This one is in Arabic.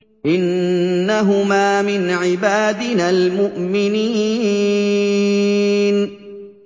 إِنَّهُمَا مِنْ عِبَادِنَا الْمُؤْمِنِينَ